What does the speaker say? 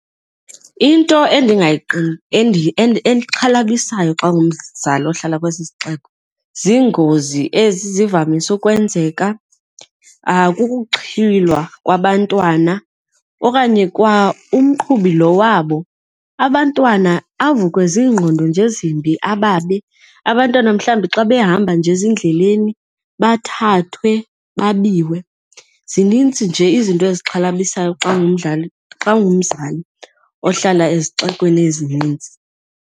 Into exhalabisayo xa ungumzali ohlala kwesi sixeko ziingozi ezi zivamise ukwenzeka, kukuxhwilwa kwabantwana okanye kwaumqhubi lo wabo abantwana avukwe ziingqondo nje ezimbi ababe. Abantwana mhlawumbi xa behamba nje ezindleleni bathathwe babiwe. Zinintsi nje izinto ezixhalabisayo xa ungumdlali, xa ungumzali ohlala ezixekweni ezinintsi.